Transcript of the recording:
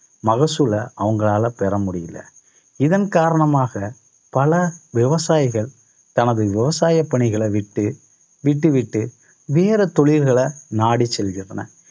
மகசூலை அவங்களால பெற முடியல. இதன் இதன் காரணமாக பல விவசாயிகள் தனது விவசாய பணிகளை விட்டு விட்டு விட்டு வேற தொழில்களை நாடி செல்கின்றன